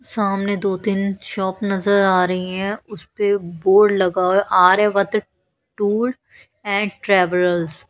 सामने दो तीन शॉप नजर आ रही है उसपे बोर्ड लगा है आर्यावत टूर एंड ट्रेवरल्स ।